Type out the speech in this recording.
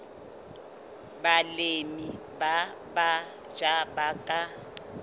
balemi ba batjha ba ka